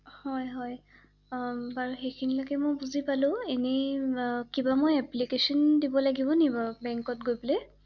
হয় হয় বাৰু সেইখিনিলৈকে বুৃজি পালো ৷এনে কিবা মই এপলিকেচন দিব লাগিব নেকি বাৰু বেংকত গৈ পেলাই৷